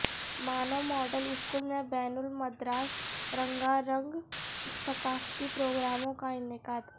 مانو model school میں بین المدراس رنگا رنگ ثقافتی پروگراموں کا انعقاد